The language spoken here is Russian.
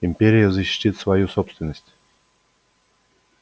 империя защитит свою собственность